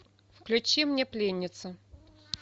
включи мне пленница